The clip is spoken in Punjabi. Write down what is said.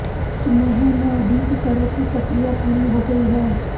ਸੁਨੇਹੇ ਨੂੰ ਉਡੀਕ ਕਰੋ ਕਿ ਪ੍ਰਕਿਰਿਆ ਪੂਰੀ ਹੋ ਗਈ ਹੈ